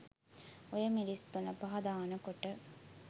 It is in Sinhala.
ඔය මිරිස් තුනපහ දානකොට